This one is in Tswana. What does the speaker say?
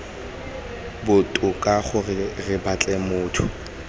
botoka gore re batle motho